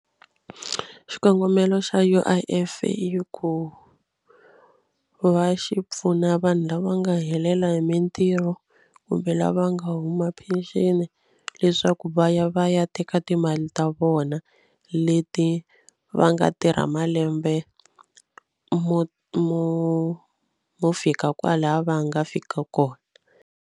Xikongomelo xa U_I_F i ku va xi pfuna vanhu lava nga helela hi mitirho kumbe lava nga huma peceni leswaku va ya va ya teka timali ta vona leti va nga tirha malembe mo mo mo fika kwalaya va nga fika kona.